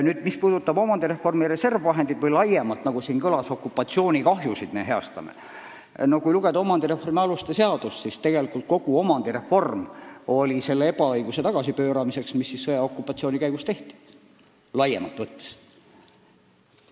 Nüüd, mis puudutab omandireformi reservfondi raha, millega me, nagu siin kõlas, okupatsioonikahjusid hüvitame, siis kui lugeda omandireformi aluste seadust, siis viidi kogu omandireform läbi selle ebaõigluse heastamiseks, mis sõja- ja okupatsiooni ajal laiemalt võttes osaks sai.